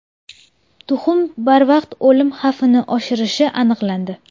Tuxum barvaqt o‘lim xavfini oshirishi aniqlandi.